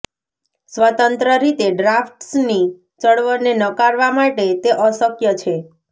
સ્વતંત્ર રીતે ડ્રાફ્ટ્સની ચળવળને નકારવા માટે તે અશક્ય છે